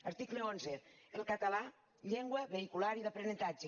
article onze el català llengua vehicular i d’aprenentatge